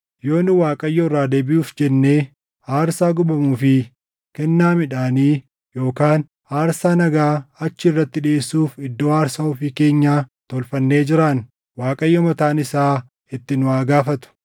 Yoo nu Waaqayyo irraa deebiʼuuf jennee, aarsaa gubamuu fi kennaa midhaanii, yookaan aarsaa nagaa achi irratti dhiʼeessuuf iddoo aarsaa ofii keenyaa tolfannee jiraanne, Waaqayyo mataan isaa itti nu haa gaafatu.